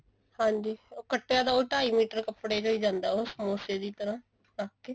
ਹਾਂਜੀ ਕੱਟਿਆ ਤਾਂ ਉਹ ਟਾਈ ਮੀਟਰ ਕੱਪੜੇ ਚੋ ਹੀ ਜਾਂਦਾ ਉਹ ਸਮੋਸੇ ਦੀ ਤਰ੍ਹਾਂ ਰੱਖ ਕੇ